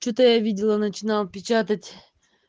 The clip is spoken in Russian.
что-то я видела он начинал печатать